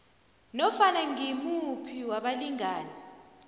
nofana ngimuphi wabalingani